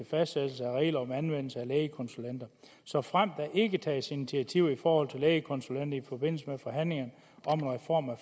fastsættelse af regler om anvendelse af lægekonsulenter såfremt der ikke tages initiativer i forhold til lægekonsulenter i forbindelse med forhandlingerne om en reform af